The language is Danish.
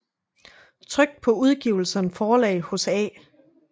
Trykt paa Udgiverens Forlag hos A